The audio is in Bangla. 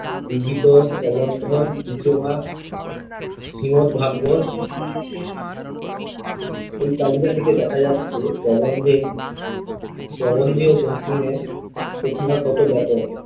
বিবিধ প্রবন্ধ, ইতিহাস , শ্রীমদভাগবত, এই তালিকা থেকে দেখা যাচ্ছে, প্রবন্ধে প্রবন্ধীয় বঙ্কিমের প্রতিভা কত ব্যাপক